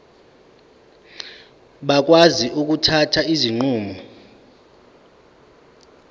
bakwazi ukuthatha izinqumo